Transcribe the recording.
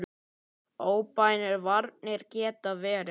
Óbeinar varnir geta verið